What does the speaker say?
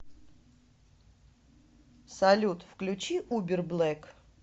салют включи убер блэк